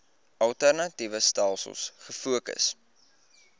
alternatiewe stelsels gefokus